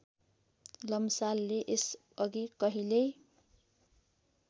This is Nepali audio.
लम्सालले यसअघि कहिल्यै